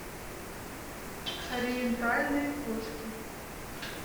ориентальные кошки